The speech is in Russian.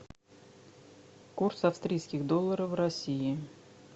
курс австрийских долларов в россии